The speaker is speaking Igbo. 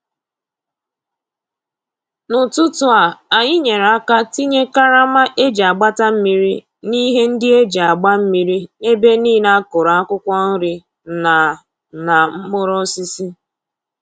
N'ụtụtụ a, anyị nyere aka tinye karama e ji agbata mmiri na ihe ndị e ji agba mmiri n'ebe nile a kụrụ akwụkwọ nri na na mkpụrụosisi